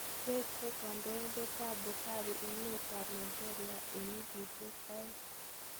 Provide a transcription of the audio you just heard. Wengseei Kondoindet Buhari emet ab Nigeria en wigisieg oonge.